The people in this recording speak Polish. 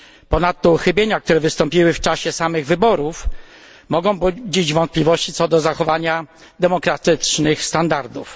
Ponadto uchybienia, które wystąpiły w czasie samych wyborów, mogą budzić wątpliwości co do zachowania demokratycznych standardów.